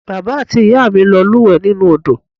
Bàbá àti ìyá mi lọ lúùwẹ́ nínú Odò